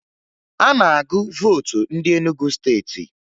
A na-agụ vootu ndị Enugu Steeti